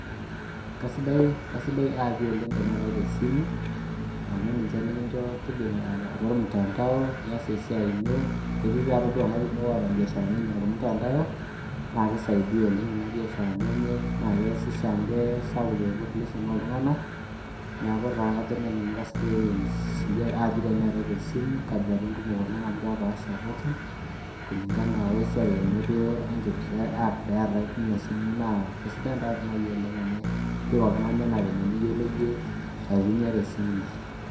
Kasidai aapi oleng teeetae tesimu amu ninche nikicho tijinga atua ormutandao nias esiai ino eti taatoi ltunganak kumok oota mbiasharani enye tormutandao na kisaidia oleng tonona biasharani enye na keasisho amu kesapuk population oltunganak neaku na kajo nanu kesidai aapi tenetae tesimu onkbilritin kumok amu kepaasha pookin kulingana wesiai enye wenkipirta aep naatae tesimu na kesidia nai oleng nipik oltungani anavile niyiolo iyie aitumia tesumu.